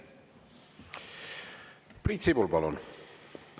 Priit Sibul, palun!